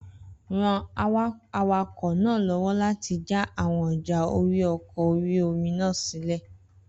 Ran awakọ̀ náà lọ́wọ́ láti jà àwọn ọjà ori ọkọ̀ orí-omi náà sílẹ̀